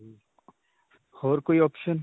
ਹੋਰ ਕੋਈ option?